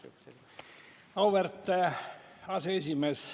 Auväärt aseesimees!